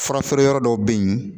Fura feere yɔrɔ dɔw bɛ yen